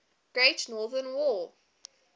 great northern war